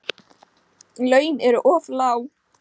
Laun eru of lág.